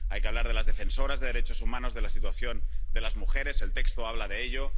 hay que hablar de las defensoras de derechos humanos, de la situación de las mujeres, y el texto habla de ello